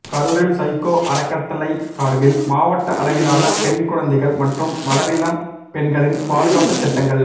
கரூரில் சைக்கோ அறக்கட்டளை சாா்பில் மாவட்ட அளவிலான பெண் குழந்தைகள் மற்றும் வளரிளம் பெண்களின் பாதுகாப்புச் சட்டங்கள்